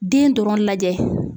Den dɔrɔn lajɛ.